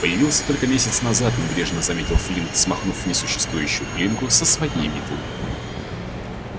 появился только месяц назад небрежно заметил флинт смахнув несуществующую пылинку со своей метлы